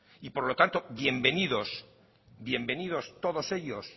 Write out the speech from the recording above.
y por lo tanto bienvenidos todos ellos